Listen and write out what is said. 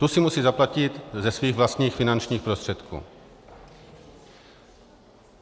Tu si musí zaplatit ze svých vlastních finančních prostředků.